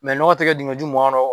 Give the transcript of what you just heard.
nɔgɔ tɛ kɛ duŋɔju mua nɔ